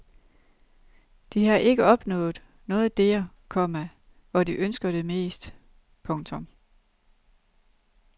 De har ikke opnået noget der, komma hvor de ønsker det mest. punktum